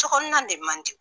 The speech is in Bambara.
Tokɔnɔna de man diw.